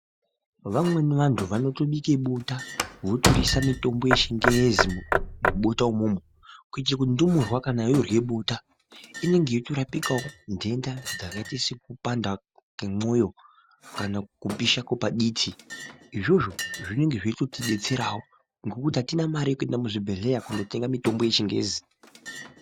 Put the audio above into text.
Vamweni vantu vanotobike bota, votoriisa mutombo wechingezi mubota umwomwo kuitire kuti ndumurwa kana yoorye bota inenge yeitorapikawo nhenda dzakaite sekupanda kwemoyo kana kupisha kwepaditi, izvozvo zvinenge zveitotidetserawo ngekuti atina mare yekuenda muchibhehleya kundotenga mitombo yechingezi.